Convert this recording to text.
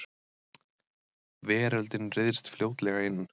Veröldin ryðst fljótlega inn.